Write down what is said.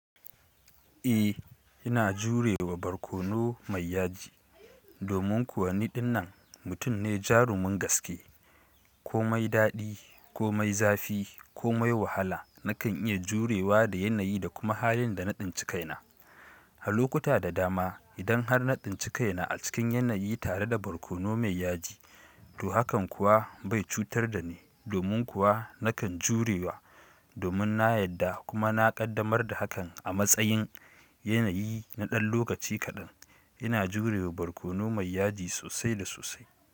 Eh, ina jurewa barkono mai yaji. Domin kuwa niɗin nan, mutum ne jarumin gaske, ko mai daɗi, ko mai zafi, ko mai wahala, na kan iya jurewa da yanayi da kuma halin da naɗinci kaina. A lokuta da dama, idan har naɗin ci kaina a cikin yanayi tare da barkono mai yaji, to hakan kuwa bai cutar da ni. Domin kuwa na kan jurewa, domin na yadda kuma na ƙaddamar da hakan a matsayin yanayi na ɗan lokaci kaɗan, ina jurewa barkono mai yaji sosai da sosai.